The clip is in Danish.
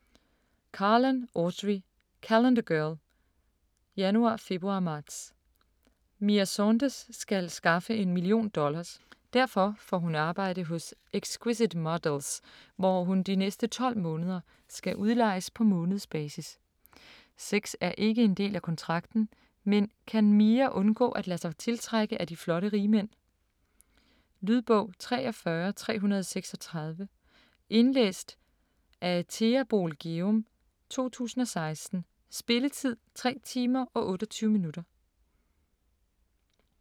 Carlan, Audrey: Calendar girl: Januar, februar, marts Mia Saunders skal skaffe en million dollars. Derfor får hun arbejde hos Exquisite Models, hvor hun de næste 12 måneder skal udlejes på månedsbasis. Sex er ikke en del af kontrakten, men kan Mia undgå at lade sig tiltrække af de flotte rigmænd?. Lydbog 43336 Indlæst af Thea Boel Gjerum, 2016. Spilletid: 3 timer, 28 minutter.